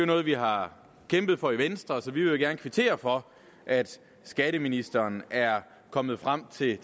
noget vi har kæmpet for i venstre så vi vil gerne kvittere for at skatteministeren er kommet frem til